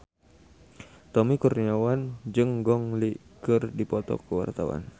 Tommy Kurniawan jeung Gong Li keur dipoto ku wartawan